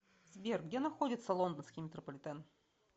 сбер где находится лондонский метрополитен